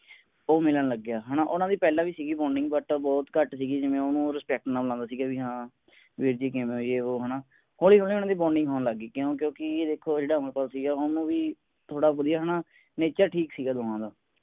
ਉਹ ਮਿਲਣ ਲੱਗ ਗਿਆ ਹੈ ਨਾ ਉਨ੍ਹਾਂ ਦੀ ਪਹਿਲਾਂ ਵੀ ਸੀ bonding but ਬਹੁਤ ਘੱਟ ਸੀਗੀ ਜਿਵੇਂ ਉਹ ਓਹਨੂੰ respect ਨਾਲ ਬੁਲਾਉਂਦਾ ਸੀਗਾ ਵੀ ਹਾਂ ਵੀਰ ਜੀ ਕਿਵੇਂ ਯੇ ਵੋ ਹੈ ਨਾ ਹੋਲੀ ਹੋਲੀ ਉਨ੍ਹਾਂ ਦੀ bonding ਹੋਣ ਲੱਗ ਗਈ ਕਿਓਂ ਕਿਉਂਕਿ ਦੇਖੋ ਜਿਹੜਾ ਅਮਰਪਾਲ ਸੀਗਾ ਓਹਨੂੰ ਵੀ ਥੋੜਾ ਵਧੀਆ ਹੈ ਨਾ nature ਠੀਕ ਸੀਗਾ ਦੋਹਾਂ ਦਾ।